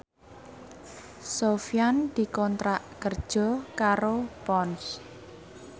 Sofyan dikontrak kerja karo Ponds